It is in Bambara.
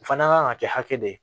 O fana kan ka kɛ hakɛ de ye